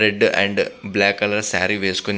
red and black colour sari వేసోకొని --